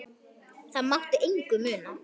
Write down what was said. Það mátti engu muna.